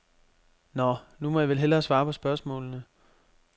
Nå, nu må jeg vel hellere svare på spørgsmålene.